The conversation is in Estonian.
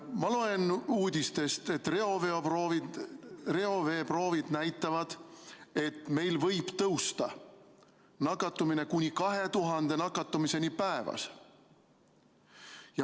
Ma loen uudistest, et reoveeproovid näitavad, et meil võib nakatumine tõusta kuni 2000 nakatumiseni päevas.